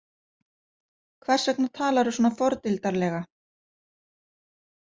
Hvers vegna talarðu svona fordildarlega?